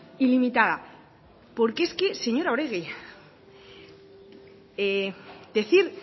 ilimitada porque es que señora oregi decir